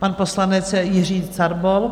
Pan poslanec Jiří Carbol.